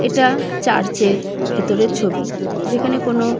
এটা চার্চের ভিতরের ছবি। যেখানে কোনো--